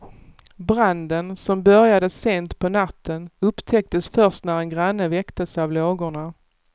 Branden, som började sent på natten upptäcktes först när en granne väcktes av lågorna.